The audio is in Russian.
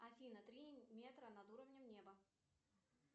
афина три метра над уровнем неба